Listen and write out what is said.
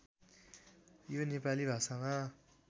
यो नेपाली भाषामा